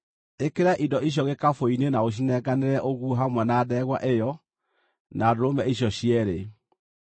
Ĩkĩra indo icio gĩkabũ-inĩ na ũcinenganĩre ũguo hamwe na ndegwa ĩyo na ndũrũme icio cierĩ.